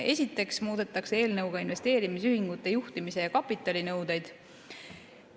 Esiteks muudetakse eelnõuga investeerimisühingute juhtimis‑ ja kapitalinõudeid.